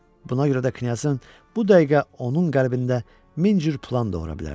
Buna görə də Knyazın bu dəqiqə onun qəlbində min cür plan doğura bilərdi.